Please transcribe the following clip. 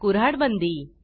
कुऱ्हाड बंदी